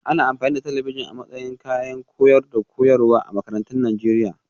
Ana amfani da talabijin a matsayin kayan koyarwa da koyarwa a makarantun Najeriya